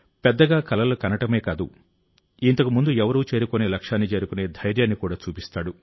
పెద్దగా కలలు కనడమే కాదు ఇంతకు ముందు ఎవరూ చేరుకోని లక్ష్యాన్ని చేరుకునే ధైర్యాన్ని కూడా చూపిస్తాడు